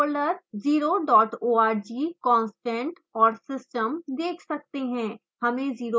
आप तीन folder 0 dot org constant और system देख सकते हैं